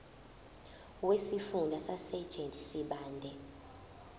wesifunda sasegert sibande